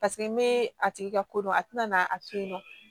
Paseke n bɛ a tigi ka ko dɔn a tɛna n'a to yen nɔ